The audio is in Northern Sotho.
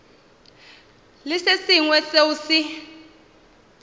le se sengwe seo se